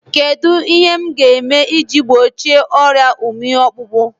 Kedụ ihe m ga-eme iji gbochie ọrịa ụmị ọkpụkpụ?